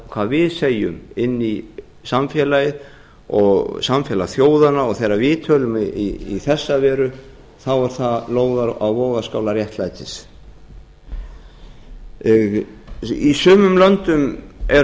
hvað við segjum inn í samfélagi og samfélag þjóðanna og þegar við tölum í þessa veru þá eru það lóðir á vogarskálar réttlætis í sumum löndum eru